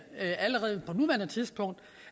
allerede på nuværende tidspunkt